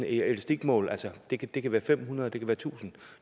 i elastikmål altså det kan det kan være fem hundrede det kan være tusind